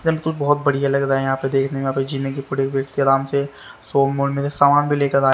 बीलकुल बहोत बढ़िया लग रहा है यहां पे देखने में से सोम वन में समान भी लेकर आ--